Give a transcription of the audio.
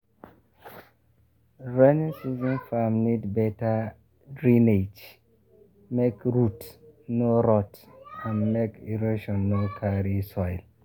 rainy season farm need better drainage make root no rot and make erosion no carry soil.